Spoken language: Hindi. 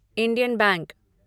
Indian bank